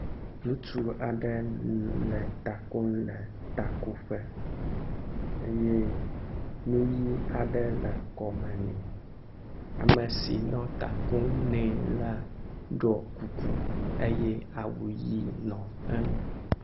Ŋutsu aɖe nɔ ta ko le takoƒe eye nu ʋe aɖe nɔ kɔme nɛ. Ame si nɔ ta kom nɛ la ɖɔ kuku eye awu ʋɛ̃ le eŋu.